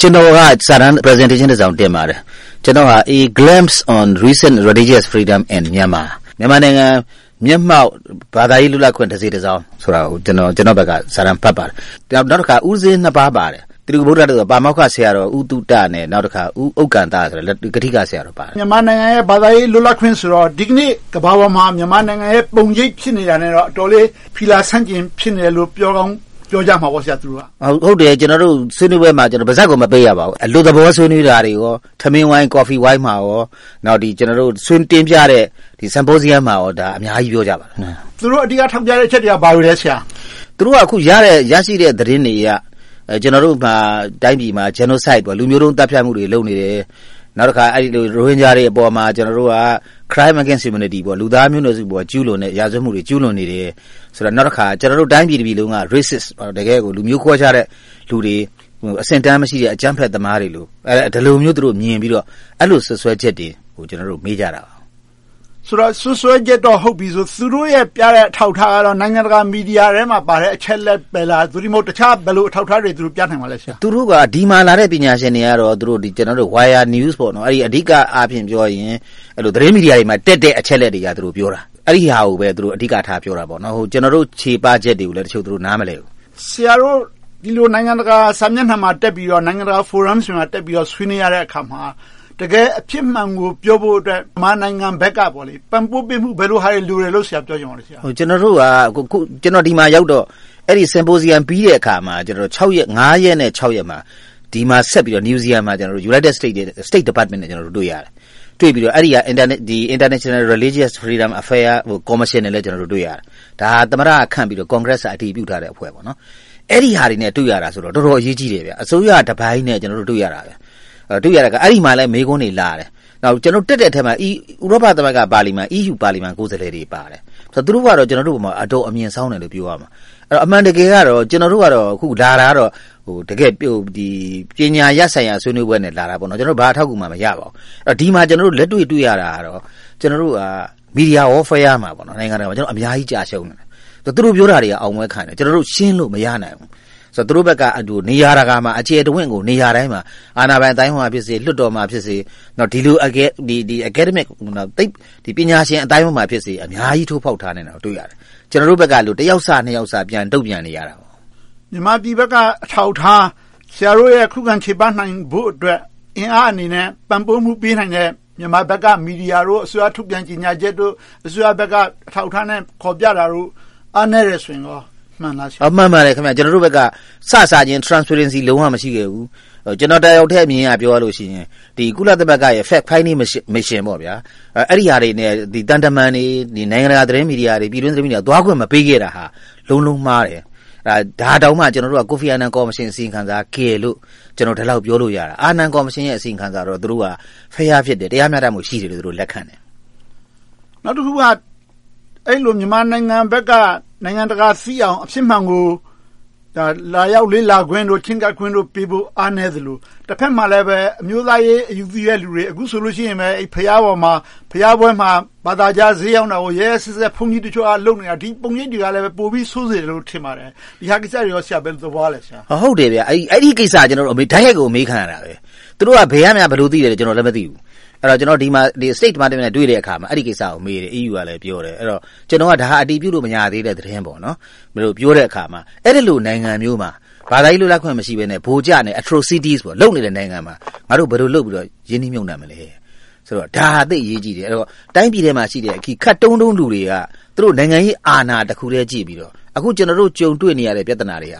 ကျနော်က စာတမ်း Presentation တစောင် တင်ပါတယ်။ “A Glimpse on Recent Religious Freedom in Myanmar မြန်မာနိုင်ငံ မျက်မှောက်ဘာသာရေး လွတ်လပ်ခွင့် တစေ့တစောင်း” ဆိုတဲ့ ခေါင်းစဉ်နဲ့ စာတမ်းဖတ်ပါတယ်။ နောက်တခါ ဦးပဇင်းနှစ်ပါးပါတယ်။ ပါမောက္ခဆရာတော် ဦးသုတ နဲ့ ဦးက္ကံသာ ကထိကဆရာတော်တပါးတို့ ဖြစ်တယ်။ မြန်မာနိုင်ငံရဲ့ ဘာသာရေးလွတ်လပ်ခွင့်ဆိုတော့ ဒီကနေ့ ကမ္ဘာပေါ်မှာ မြန်မာနိုင်ငံရဲ့ ပုံရိပ်ဖြစ်နေတာနဲ့တော့ အတော်လေး ဖီလာဆန်ကျင့်ဖြစ်နေမယ်လို့ ပြောကောင်းပြောကြမှာပေါ့။ ဟုတ်တယ်။ ဆွေးနွေးပွဲမှာ ကျနော်တို့ ပါးစပ်ကို မပိတ်ရဘူး။ အလွတ်သဘော ဆွေးနွေးတာကေကာ၊ ထမင်းဝိုင်း၊ ကော်ဖီဝိုင်းနဲ့ ဆွေးနွေးတင်ပြတဲ့ Symposium မှာပါ အများကြီး ပြောကြပါတယ်။ သူတို့ အဓိက ထောက်ပြတဲ့ အချက်တွေက ဘာတွေလဲ။ သူတို့က အခု ရရှိတဲ့ သတင်းတွေအရ ကျနော်တို့ တိုင်းပြည်မှာ Genocide လူမျိုးတုန်းသတ်ဖြတ်မှုတွေ လုပ်နေတယ်။ နောက်တခါ ရိုဟင်ဂျာတွေပေါ်မှာ Crimes against humanity လူသားမျိုးနွယ်စုပေါ် ကျူးလွန်တဲ့ ရာဇဝတ်မှုတွေ ကျူးလွန်နေတယ်။ နောက်တခါ ကျနော်တို့ တိုင်းပြည်တခုလုံးက racist တကယ့်ကို လူမျိုးခွဲခြားတဲ့လူတွေ၊ အဆင့်အတန်းမရှိတဲ့ အကြမ်းဖက်သမားတွေလို့ အဲဒီလိုမျိုး မြင်ပြီးတော့ စွပ်စွဲချက်တွေနဲ့ ကျနော်တို့ကို မေးကြတယ်။ ဆိုတော့ စွပ်စွဲချက်တော့ ဟုတ်ပြီ။ သူတို့ရဲ့ပြတဲ့ အထောက်အထားကတော့ နိုင်ငံတကာ မီဒီယာထဲမှာပါတဲ့ အချက်အလက်တွေပဲလား။ သို့တည်းမဟုတ် ဘယ်လို အထောက်အထားတွေ ပြနိုင်ပါလဲ။ ဒီမှာလာတဲ့ ပညာရှင်တွေကတော့ အဓိကအားဖြင့် သတင်းမီဒီယာတွေမှာ တက်လာတဲ့ အချက်အလက်တွေအရ ပြောတာ။ အဲဒါကိုပဲ အဓိကထား ပြောကြတယ်။ ကျနော်တို့ ချေပချက်တွေကိုလည်း သူတို့ တချို့နားမလည်ဘူး။ ဆရာတို့ နိုင်ငံတကာစာမျက်နှာမှာတက်ပြီးတော့၊ နိုင်ငံတကာ ဖိုရမ်မှာ တက်ပြီးတော့ ဆွေးနွေးရတဲ့အခါမှာ တကယ်အဖြစ်မှန်ကို ပြောဖို့အတွက် မြန်မာနိုင်ငံဘက်က ပံ့ပိုးပေးမှု ဘယ်လိုဟာတွေ လိုတယ်လို့ ပြောချင်ပါလဲ။ ကျနော် ဒီမှာရောက်တော့ အဲဒီ Symposium ပြီးတဲ့အခါမှာ ရက်နဲ့ ရက်မှာ ဒီမှာဆက်ပြီးတော့ Newsesum မှာ ဆက်ပြီးတော့ State Department နဲ့ တွေ့ရတယ်။ တွေ့ပြီးတော့ အဲဒီက International Religious Freedom Affairs Commission နဲ့လည်း တွေ့ရတယ်။ ဒါက Congress က ခန့်ပြီးတော့ သမ္မတက အတည်ပြုထားတဲ့အဖွဲ့။ အဲဒီဟာတွေနဲ့ တွေ့ရတယ်ဆိုတော့ တော်တော်အရေးကြီးတယ်။ အစိုးရတပိုင်းနဲ့ တွေ့ရတာ။ တွေ့တဲ့အခါမှာလည်း အဲဒီမှာ မေးခွန်းတွေလာတယ်။ တက်တဲ့အထဲမှာ ဥရောပ သမဂ္ဂပါလီမန် EU Parliament ကိုယ်စားလှယ်တွေပါတယ်။ သူတို့ကတော့ ကျနော်တို့အပေါ် အတော်အမြင်စောင်းနေတယ်လို့ ပြောရမယ်။ အမှန်တကယ်ကတော့ ကျနော်တို့က လာခဲ့တာက ပညာရပ်ဆိုင်ရာ ဆွေးနွေးပွဲနဲ့လာတာ။ ဘာအထောက်အကူမှ မရပါဘူး။ ဒီမှာ ကျနော်တို့ လက်တွေ့တွေ့ရတာကတော့ ကျနော်တို့က Media Warfare မှာ နိုင်ငံတကာမှာ အများကြီးကျရှုံးတယ်။ သူတို့ပြောတာတွေက အောင်ပွဲခံတယ်။ ကျနော်တို့ ရှင်းလို့မရနိုင်ဘူး။ သူတို့ဘက်က နေရာတကာမှာ အကျယ်တဝံ့ကို နေရာတိုင်းမှာ အာဏာပိုင်အသိုင်းအဝိုင်းမှာဖြစ်စေ၊ လွှတ်တော်မှာဖြစ်စေ၊ ဒီလို Academic ပညာရှင်အသိုင်းအဝိုင်းမှာဖြစ်စေ အများကြီး ထိုးဖောက်ထားနိုင်တာကို တွေ့ရတယ်။ ကျနော်တို့ဘက်က တယောက်စ နှစ်ယောက်စ ပြန်တုံ့ပြန်နေကြတယ်။ မြန်မာပြည်ဘက်က အထောက်အထား။ ဆရာတို့ရဲ့ ခုခံချေပနိုင်ဖို့အတွက် အင်အားအနေနဲ့ ပံ့ပိုးမှုပေးနိုင်တဲ့ မြန်မာဘက်က မီဒီယာတို့၊ အစိုးရထုတ်ပြန်ချက်တို့၊ အစိုးရဘက်က အထောက်အထားနဲ့ ဖော်ပြတာတို့ အားနည်းတယ်ဆိုရင်ကော မှန်ပါလား။ မှန်ပါတယ်။ ကျနော်တို့ဘက်က စစချင်း Transparency လုံးဝ မရှိခဲ့ဘူး။ ကျနော်တယောက်ထဲ အမြင်အရ ပြောရမယ်ဆိုရင် ကုလသမဂ္ဂရဲ့ Fact Finding Mission အဲဒီဟာတွေနဲ့ သံတမန်တွေ၊ နိုင်ငံတကာ သတင်းမီဒီယာတွေ၊ ပြည်တွင်းမီဒီယာတွေကို သွားခွင့်မပေးခဲ့တာဟာ လုံးလုံးမှားတယ်။ ဒါတောင်မှ ကျနော်တို့က ကိုဖီအာနန် ကော်မရှင် အစီရင်ခံစာက ကယ်လို့ ကျနော် ဒီလောက်ပြောလို့ရတာ။ ကိုဖီအာနန် ကော်မရှင် အစီရင်ခံစာကိုတော့ သူတို့က Fair ဖြစ်တယ်။ တရားမျှတမှု ရှိတယ်လို့ သူတို့ လက်ခံတယ်။ နောက်တခုက အဲဒီလို မြန်မာနိုင်ငံဘက်က နိုင်ငံတကာသိအောင် အဖြစ်မှန်ကို လာရောက်လေ့လာခွင့်တို့၊ ချဉ်းကပ်ခွင့်တို့ပေးဖို့ အားနည်းသလို။ တဘက်မှာလဲ အမျိုးသားရေး အယူသီးတဲ့လူတွေ - အခုဆိုရင် ဘုရားပေါ်မှာ၊ ဘုရားပွဲမှာ ဘာသာခြားဈေးရောင်းတာကို ရက်ရက်စက်စက် ဘုန်းကြီးတချို့က လုပ်နေတာ။ ဒီပုံရိပ်တွေကလည်း ပိုပြီးဆိုးစေတယ်လို့ ထင်ပါတယ်။ ဒီကိစ္စတွေကို ဆရာ ဘယ်လိုသဘောရပါလဲ။ ဟုတ်တယ်။ အဲဒီကိစ္စကို ကျနော်တို့ကို တိုက်ရိုက်မေးခံရတာ။ သူတို့က ဘယ်ကနေ ဘယ်လိုသိသလဲဆိုတာ ကျနော် မသိဘူး။ ကျနော်တို့ State Department နဲ့ တွေ့တဲ့အခါမှာ အဲဒီကိစ္စကို မေးတယ်။ EU ကလည်း ပြောတယ်။ ကျနော်က အဲဒါ အတည်ပြုလို့ မရသေးတဲ့ သတင်းလို့ ပြောတဲ့အခါမှာ အဲဒီလို နိုင်ငံမျိုးမှာ ဘာသာရေး လွတ်လပ်ခွင့် မရှိဘဲနဲ့ ဗိုလ်ကျနေတဲ့ Atrocities လုပ်နေတဲ့ နိုင်ငံမှာ ငါတို့ ဘယ်လိုလုပ် ရင်းနှီးမြှုပ်နံှမလဲဆိုတော့ ဒါဟာ သိပ်အရေးကြီးတယ်။ တိုင်းပြည်ထဲမှာရှိတဲ့ ခပ်တုံးတုံး လူတွေက သူတို့ နိုင်ငံရေးအာဏာတခုတည်း ကြည့်ပြီးတော့ ကျနော်တို့ အခုကြုံတွေ့နေရတဲ့ ပြဿနာတွေက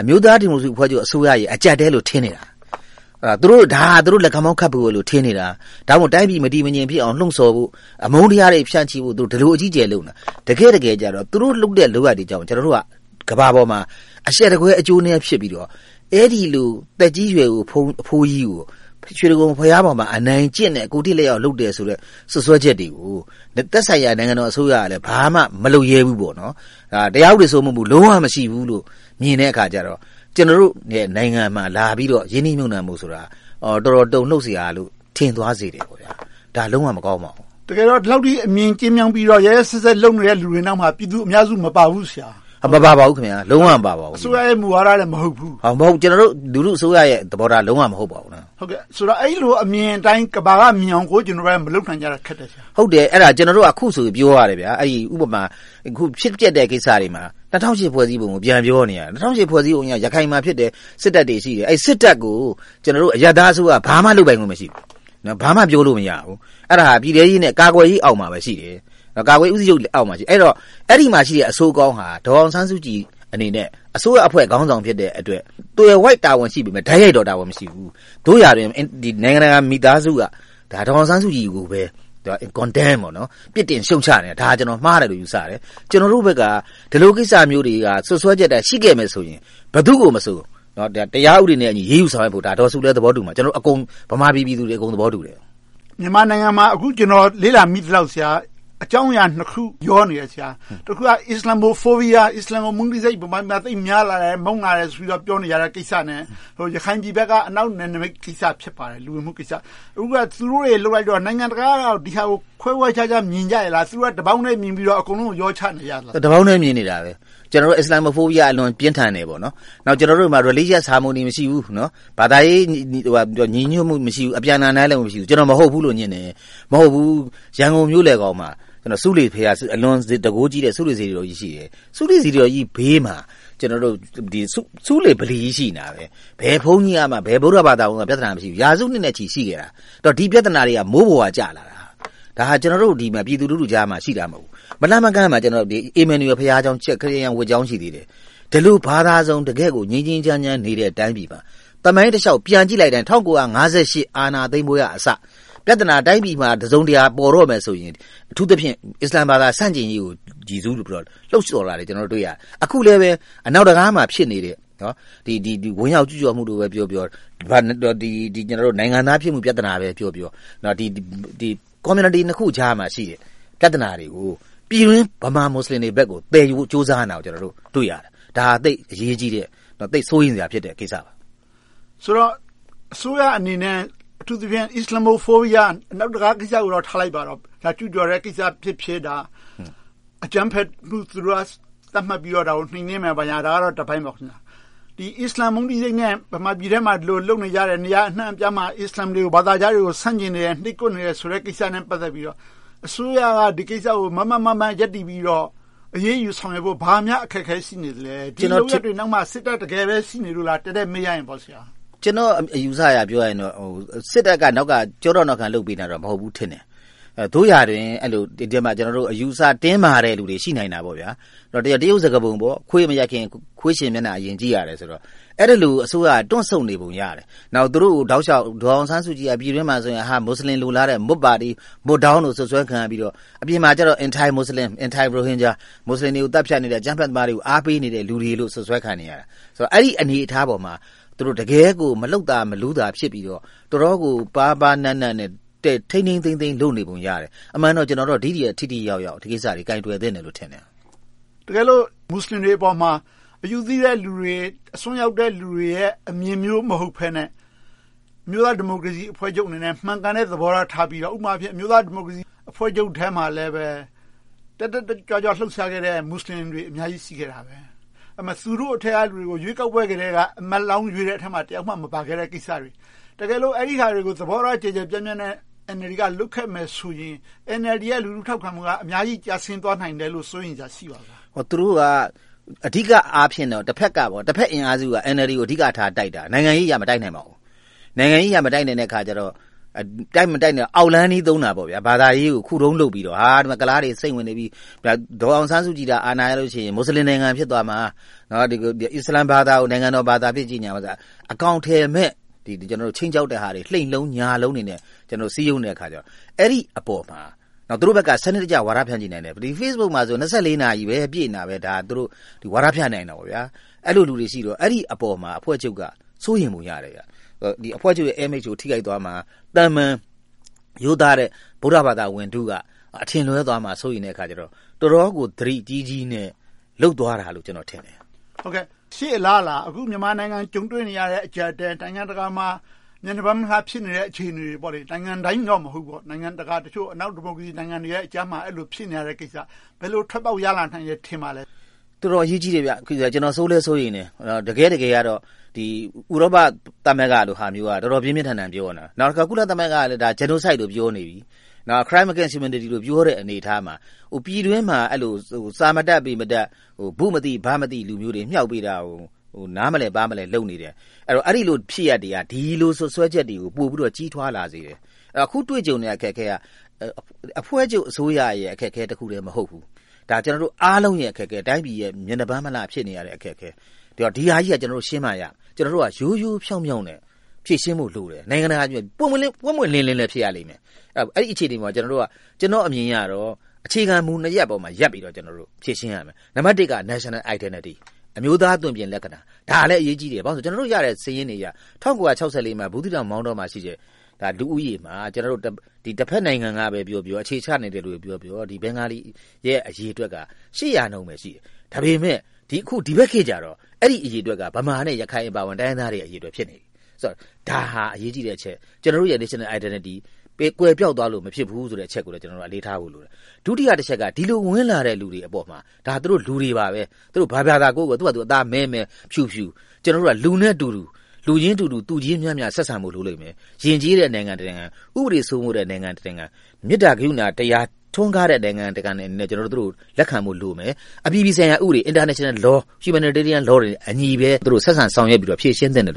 အမျိုးသားဒီမိုကရေစီအဖွဲ့ချုပ် အစိုးရရဲ့ အကျပ်အတည်းလို့ ထင်နေတာ။ ဒါဟာ သူတို့ လက်ခမောင်းခတ်ဖို့ဆိုပြီး ထင်နေတာ။ ဒါ့အပြင် တိုင်းပြည် မတည်မငြိမ်ဖြစ်အောင် လှုံဆော်ဖို့၊ အမုန်းတရားတွေ ဖြန့်ချီဖို့ ဒီလို အကြီးအကျယ် လုပ်နေတာ။ တကယ့်တကယ်ကြတော့ သူတို့ လုပ်နေတဲ့ လုပ်ရပ်တွေကြောင့် ကျနော်တို့က ကမ္ဘာပေါ်မှာ အရှက်တကွဲ၊ အကျိုးနည်း ဖြစ်ပြီးတော့ အဲဒီလို သက်ကြီးရွယ်အို အဘိုးကြီးကို ရွှေတိဂုံဘုရားပေါ်မှာ အနိုင်ကျင့်တဲ့၊ ကိုယ်ထိလက်ရောက် လုပ်တယ်ဆိုတဲ့ စွပ်စွဲချက်တွေကို သက်ဆိုင်ရာ နိုင်ငံတော်အစိုးရက ဘာမှမလုပ်ရဲဘူး။ တရားဥပဒေ စိုးမိုးမှု ဘာမှမရှိဘူးလို့ မြင်တဲ့အခါကြတော့ ကျနော်တို့နိုင်ငံမှာ လာပြီးတော့ ရင်းနှီးမြှုပ်နံှဖို့ဆိုတာ တော်တော်တုန်လှုပ်စရာလို့ ထင်သွားစေတယ်။ ဒါက လုံးဝမကောင်းပါဘူး။ တကယ်တော့ ဒီလောက်အထိ အမြင်ကျဉ်းမြောင်းပြီးတော့ ရက်ရက်စက်စက် လုပ်နေတဲ့ လူတွေနောက်မှာ ပြည်သူအများစု မပါပါဘူး။ မပါပါဘူး။ လုံးဝမပါပါဘူး။ အစိုးရရဲ့ မူဝါဒလည်း မဟုတ်ဘူး။ ကျနော်တို့ လူထုအစိုးရရဲ့ သဘောထား လုံးဝမဟုတ်ပါဘူး။ ဆိုတော့ အဲဒီလို အမြင်အတိုင်း ကမ္ဘာကမြင်အောင် မလုပ်နိုင်ကြတာ ခက်တယ်။ ကျနော်တို့က အခုဆိုရင် ပြောရတယ်။ အခုဖြစ်ပျက်တဲ့ ကိစ္စတွေမှာ ၂၀၀၈ ဖွဲ့စည်းပုံ ပြန်ပြောနေရတယ်။ ၂၀၀၈ ဖွဲ့စည်းပုံအရ ရခိုင်မှာဖြစ်တယ်။ စစ်တပ်တွေ ရှိတယ်။ အဲဒီ စစ်တပ်ကို ကျနော်တို့ အရပ်သားအစိုးရ ဘာမှလုပ်ပိုင်ခွင့် မရှိဘူး။ ဘာမှ ပြောလို့မရဘူး။ အဲဒါ ပြည်ထဲရေးနဲ့ ကာကွယ်ရေးအောက်မှာ ရှိတယ်။ အဲဒီတော့ အဲဒီမှာရှိတဲ့ အဆိုးအကောင်းက ဒေါ်အောင်ဆန်းစုကြည်အနေနဲ့ အစိုးရအဖွဲ့ခေါင်းဆောင်ဖြစ်တဲ့အတွက် သွယ်ဝိုက်တာဝန်ရှိပြီး၊ တိုက်ရိုက်တာဝန်မရှိဘူး။ သို့ရာတွင် နိုင်ငံတကာ မိသားစုက ဒေါ်အောင်ဆန်းစုကြည်ကို ပြစ်တင်ရှုတ်ချနေတယ်။ ဒါကို မှားတယ်လို့ ကျနော် ယူဆတယ်။ ကျနော်တို့ဘက်က ဒီလိုကိစ္စမျိုးတွေ၊ စွပ်စွဲချက်တွေသာ ရှိခဲ့မယ်ဆိုရင် ဘယ်သူကိုမဆို တရားဥပဒေနဲ့အညီ အရေးယူဆောင်ရွက်ဖို့ ဒေါ်စုလည်း သဘောတူတယ်။ ကျနော်တို့ မြန်မာပြည်သူတွေလည်း သဘောတူတယ်။ မြန်မာနိုင်ငံမှာ ကျနော် လေ့လာမိသလောက် အကြောင်းအရာနှစ်ခု ရောနေတယ်။ တခုက Islamophobia အစ္စလာမ်ကို မုန်းတီးစိတ် မြန်မာပြည်မှာ သိပ်များနေတယ်။ မုန်းလာကြတဲ့ဆိုတဲ့ ကိစ္စ။ ရခိုင်ပြည်ဘက်က အနောက်နယ်နမိတ်ကိစ္စ ဖြစ်ပါတယ်။ အခု သူတို့တွေ လုပ်လိုက်တော့ နိုင်ငံတကာက ဒီဟာကို ခွဲခွဲခြားခြား မြင်ကြရဲ့လား။ တပေါင်းထဲမြင်ပြီးတော့ အကုန်လုံး ရောချနေကြလား။ တပေါင်းထဲ မြင်နေကြတယ်။ အစ္စလာမ် မုန်းတီးစိတ်က အလွန်ပြင်းထန်ကြတယ်။ ကျနော်တို့မှာ Religious Harmony မရှိဘူး။ ဘာသာရေး ညီညွတ်မှု မရှိဘူး။ အပြန်အလှန် နားလည်မှု မရှိဘူး။ ကျနော်က မဟုတ်ဘူးလို့ ငြင်းတယ်။ ရန်ကုန်မြို့လယ်ခေါင်းမှာ အလွန်တန်းခိုးကြီးတဲ့ ဆူးလေစေတီတော်ကြီး ရှိတယ်။ ဆူးလေစေတီတော်ကြီးဘေးမှာ ဆူးလေဗီလီကြီး ရှိတယ်။ ဘယ်ဘုန်းကြီး၊ ဘယ် ဗုဒ္ဓဘာသာကမှ ပြဿနာ မရှိဘူး။ ရာစုနှစ်နဲ့ချီ ရှိခဲ့တာ။ ဒီပြဿနာတွေက မိုးပေါ်ကကျလာတာ။ ဒါတွေက ကျနော်တို့ ပြည်သူလူထုကြားမှာ ရှိတာ မဟုတ်ဘူး။ မလှမ်းမကမ်းမှာ ခရစ်ယာန်ဘုရားကျောင်း ရှိသေးတယ်။ ဒီလို ဘာသာစုံ ငြိမ်းငြိမ်းချမ်းချမ်းနေတဲ့ တိုင်းပြည်မှာ သမိုင်းတလျှောက် ပြန်ကြည့်လိုက်တိုင်း ၁၉၅၈ အာဏာသိမ်းပွဲကအစ ပြဿနာ တိုင်းပြည်မှာ တစုံတရာ ပေါ်တော့မယ်ဆိုရင် အထူးသဖြင့် အစ္စလာမ်ဘာသာ ဆန့်ကျင်ရေးကို လှုံဆော်တာတွေ တွေ့ရတယ်။ အခုလဲ အနောက်တံခါးမှာ ဖြစ်နေတယ်။ ဝင်ရောက်ကျူးကျော်မှုပဲပြောပြော၊ နိုင်ငံသားဖြစ်မှုပဲပြောပြော၊ ဒီ Community နှစ်ခုကြားမှာ ရှိနေတဲ့ ပြဿနာတွေကို ပြည်တွင်းဗမာ မူစလင်တွေဘက်ကို သယ်ယူဖို့ ကြိုးစားနေတာကို တွေ့ရတယ်။ ဒါက သိပ်အရေးကြီးတဲ့ စိုးရိမ်စရာကိစ္စ ဖြစ်တယ်။ ဆိုတော့ အစိုးရအနေနဲ့ အထူးသဖြင့် Islamophobia အနောက်တံခါးကိစ္စကိုတော့ ထားလိုက်ပါတော့။ ကျူးကျော်တဲ့ကိစ္စဖြစ်ဖြစ်၊ အကြမ်းဖက်မှု သတ်မှတ်ပြီးတော့ သူတို့က နှိမ်းနင်းမယ် ဘာညာကတော့ တပိုင်းပေါ့။ အစ္စလာမ် မုန်းတီးရေးနဲ့ ပြည်တွင်းမှာ ဒီလိုလုပ်နေကြတယ်။ နေရာအနံှအပြားမှာ အစ္စလာမ်တွေ၊ ဘာသာခြားတွေကို ဆန့်ကျင်နေတယ်။ နှိပ်ကွပ်နေတယ်ဆိုတဲ့ ကိစ္စနဲ့ ပတ်သက်ပြီး အစိုးရက ဒီကိစ္စကို မားမားမတ်မတ် ရပ်တည်ပြီးတော့ အရေးယူဆောင်ရွက်ဖို့ ဘာများအခက်အခဲ ရှိနေသလဲ။ ဒီလုပ်ရပ်တွေနောက်မှာ စစ်တပ် တကယ်ပဲ ရှိနေလို့လား။ တည့်တည့်မေးရရင်။ ကျနော့်အမြင်အယူအဆအရ ပြောရရင် စစ်တပ်က နောက်ကကျောထောက်နောက်ခံ လုပ်ပေးနေတာတော့ မဟုတ်ဘူးထင်တယ်။ သို့ရာတွင် အယူအဆ တင်းမာတဲ့လူတွေ ရှိနိုင်တယ်။ တရုတ်စကားပုံလိုပေါ့ “ခွေးမရိုက်ခင် ခွေးရှင်မျက်နှာ အရင်ကြည့်ရတယ်” ဆိုသလို အဲဒီလို အစိုးရက တွန့်ဆုတ်နေပုံရတယ်။ နောက် သူတို့ကို တောက်လျှောက် ဒေါ်အောင်ဆန်းစုကြည်ကို ပြည်တွင်းမှာဆိုရင် မူစလင် လိုလားတဲ့ မွတ်ပါတီ၊ မွတ်ဒေါင်းလို့ စွပ်စွဲခံရပြီးတော့၊ အပြင်မှာကြတော့ Anti-muslim, Anti-Rohingar မူစလင်တွေကို သတ်ဖြတ်နေတယ်။ အကြမ်းဖက်သမားတွေကို အားပေးနေတဲ့ လူတွေလို့ စွပ်စွဲခံနေရတယ်။ အဲဒီအနေအထားပေါ်မှာ သူတို့ တကယ်ကို မလှုပ်သာမလူးသာ ဖြစ်ပြီးတော့ တော်တော်ကို ပါးပါးနပ်နပ်နဲ့ ထိန်းထိန်းသိမ်းသိမ်း လုပ်နေပုံရတယ်။ အမှန်တော့ ကျနော်တို့က ဒီထက်ထိထိရောက်ရောက် ဒီကိစ္စတွေကို ကိုင်တွယ်သင့်တယ်လို့ ထင်တယ်။ တကယ်လို့ မူစလင်တွေပေါ်မှာ အယူသီးတဲ့လူတွေ၊ အစွန်းရောက်တဲ့ လူတွေရဲ့ အမြင်မျိုး မဟုတ်ဘဲနဲ့ အမျိုးသားဒီမိုကရေစီအဖွဲ့ချုပ်အနေနဲ့ မှန်ကန်တဲ့ သဘောထားထားပြီးတော့ ဥပမာ အမျိုးသားဒီမိုကရေစီအဖွဲ့ချုပ်ထဲမှာလည်း တက်တက်ကြွကြွ လှုပ်ရှားခဲ့တဲ့ မူစလင်တွေ အများကြီး ရှိခဲ့တာပဲ။ သူတို့ထဲက လူတွေကို ရွေးကောက်ပွဲကတည်းက အမတ်လောင်းရွေးတဲ့အထဲမှာ တယောက်မှ မပါခဲ့တဲ့ ကိစ္စတွေ။ တကယ်လို့ အဲဒီဟာတွေကို သဘောထား ကျယ်ကျယ်ပြန့်ပြန့်နဲ့ NLD က လုပ်ခဲ့မယ်ဆိုရင် NLD ရဲ့ လူထုထောက်ခံမှုက အများကြီး ကျဆင်းသွားနိုင်တယ်လို့ စိုးရိမ်စရာ ရှိပါလား။ သူတို့က အဓိကအားဖြင့်တော့ တဘက်အင်အားစုက NLD ကို အဓိကထား တိုက်တာ။ နိုင်ငံရေးအရ မတိုက်နိုင်ပါဘူး။ နိုင်ငံရေးအရ မတိုက်နိုင်တဲ့အခါကြတော့ အောက်လမ်းနည်းသုံးတာပေါ့ - ဘာသာရေးကို ခုတုံလုပ်ပြီးတော့ ကုလားတွေ စိမ့်ဝင်နေပြီး ဒေါ်အောင်ဆန်းစုကြည်သာ အာဏာရလို့ရှိရင် မူစလင်နိုင်ငံ ဖြစ်သွားမှာ။ အစ္စလာမ်ဘာသာကို နိုင်ငံတော်ဘာသာအဖြစ် ကြေညာမယ်ဆိုတာ အကောင်အထည်မဲ့ ခြိမ်းခြောက်တဲ့ဟာတွေ၊ လှိမ့်လုံးညာလုံးတွေနဲ့ စည်းရုံးနေတဲ့အခါကြတော့ အဲဒီအပေါ်မှာ သူတို့ဘက်က စနစ်တကျ ဝါဒဖြန့်ချီနိုင်တယ်။ Facebook ပေါ်မှာ နှစ်ဆယ့်လေးနာရီအပြည့် ဒါတွေကို ဝါဒဖြန့်နိုင်ခဲ့တယ်။ အဲဒီအပေါ်မှာ အဖွဲ့ချုပ်က စိုးရိမ်ပုံရတယ်။ အဖွဲ့ချုပ်ရဲ့ Image ကို ထိခိုက်သွားမှာ။ သာမန်ရိုးသားတဲ့ ဗုဒ္ဓဘာသာတွေ အထင်လွဲသွားမှာကို စိုးရိမ်တဲ့အခါကြတော့ တော်တော့်ကို သတိကြီးကြီးနဲ့ လုပ်သွားတာလို့ ကျနော်ထင်တယ်။ ရှေ့အလားအလာ အခု မြန်မာနိုင်ငံ ကြုံတွေ့နေရတဲ့ အကျပ်အတည်း၊ နိုင်ငံတကာမှာ မျက်နှာပန်း မလှတဲ့ အခြေအနေတွေ။ နိုင်ငံတိုင်းတော့ မဟုတ်ဘူးပေါ့ အနောက်ဒီမိုကရေစီ နိုင်ငံတွေကြားမှာ ဖြစ်နေတဲ့ကိစ္စကို ဘယ်လို ထွက်ပေါက်ရလာနိုင်မယ်လို့ ထင်ပါလဲ။ တော်တော်အရေးကြီးတယ်။ စိုးလည်းစိုးရိမ်တယ်။ တကယ့်တကယ်တော့ ဥရောပသမဂ္ဂလိုဟာမျိုးက တော်တော်ပြင်းပြင်းထန်ထန် ပြောနေတာ။ ကုလသမဂ္ဂကလည်း Genocide လို့ ပြောနေပြီ၊ Crimes against humanity လို့ ပြောတဲ့ အနေအထားမှာ ပြည်တွင်းမှာ စာမတတ်၊ ပေမတတ်၊ ဘုမသိ ဘမသိ လူမျိုးတွေ မြှောက်ပေးတာကို နားမလည်၊ ပါးမလည် လုပ်နေတယ်။ အဲဒီလို ဖြစ်ရပ်တွေက ဒီလိုစွပ်စွဲချက်တွေကို ပိုပြီးတော့ ကြီးထွားလာစေတယ်။ အခုတွေ့ကြုံနေရတဲ့ အခက်အခဲက အဖွဲ့ချုပ် အစိုးရရဲ့ အခက်အခဲတခုတည်း မဟုတ်ဘူး။ ဒါက ကျနော်တို့အားလုံးရဲ့ အခက်အခဲ။ တိုင်းပြည် မျက်နှာပန်းမလှ ဖြစ်နေရတဲ့ အခက်အခဲ။ ဒီဟာကြီးကို ကျနော်တို့ ရှင်းမှရမယ်။ ကျနော်တို့က ရိုးရိုးဖြောင့်ဖြောင့်နဲ့ ဖြေရှင်းဖို့လိုတယ်။ ပွင့်ပွင့်လင်းလင်းဖြစ်ဖို့လည်း လိုမယ်။ အဲဒီအခြေအနေမှာ ကျနော့်အမြင်အရတော့ အခြေခံမူနှစ်ရပ်ပေါ်မှာ ရပ်တည်ပြီးတော့ ဖြေရှင်းရမယ်။ နံပတ်တစ်က National Identity အမျိုးသားအသွင်အပြင်လက္ခဏာ။ ဒါလည်း အရေးကြီးတယ်။ ကျနော်တို့ရတဲ့ စာရင်းတွေအရ ၁၉၆၄ မှာ ဘူးသီးတောင်၊ မောင်တောမှာရှိတဲ့ လူဦးရေမှာ တဘက်နိုင်ငံကပဲပြောပြော၊ အခြေချနေသူတွေပဲပြောပြော ဘင်္ဂလီတွေရဲ့ အရေအတွက်က ရှစ်ရာနှုန်းပဲ ရှိတယ်။ ဒါပေမဲ့ ဒီဘက်ခေတ်ကြတော့ အဲဒီအရေအတွက်က ဗမာနဲ့ရခိုင်အပါအဝင် တိုင်းရင်းသားတွေရဲ့ အရေအတွက် ဖြစ်နေပြီ။ ဒါဟာ အရေးကြီးတဲ့အချက်။ ကျနော်တို့ရဲ့ Identity ကွယ်ပျောက်သွားလို့ မဖြစ်ဘူးဆိုတဲ့ အချက်ကိုလည်း ကျနော်တို့ အလေးထားဖို့လိုတယ်။ ဒုတိယတချက်က ဒီလိုဝင်လာတဲ့ လူတွေအပေါ်မှာ ဒါ လူတွေပါပဲ သူတို့ဘာ ဘာသာကိုးကွယ်ကိုးကွယ်၊ အသားမည်းမည်း၊ ဖြူဖြူ ကျနော်တို့က လူရင်းတူတူ သူချင်းမျှမျှ ဆက်ဆံဖို့ လိုလိမ့်မယ်။ ယဉ်ကျေးတဲ့ နိုင်ငံတနိုင်ငံ၊ ဥပဒေစိုးမိုးတဲ့ နိုင်ငံတနိုင်ငံ၊ မေတ္တာ ကရုဏာတရား ထွန်းကားတဲ့ နိုင်ငံတနိုင်ငံအနေနဲ့ သူတို့ကို လက်ခံဖို့လိုမယ်။ အပြည်ပြည်ဆိုင်ရာဥပဒေ International Laws, Humanitarian Laws တွေနဲ့အညီ သူတို့ကို ဆက်ဆံဆောင်ရွက်ပြီးတော့ ဖြေရှင်းသင့်တယ်လို